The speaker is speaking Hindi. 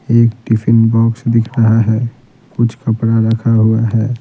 एक टिफिन बॉक्स दिख रहा है कुछ कपड़ा रखा हुआ है।